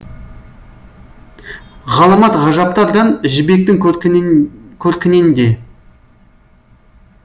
ғаламат ғажаптардан жібектің көркінен көркінен де